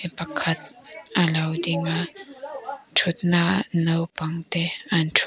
pakhat a lo ding a thutnaah naupangte an thu--